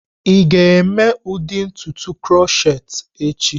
Ị ga-eme ụdị ntutu krokhet echi?